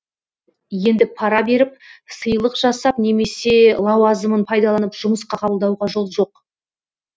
енді пара беріп сыйлық жасап немесе лауазымын пайдаланып жұмысқа қабылдауға жол жоқ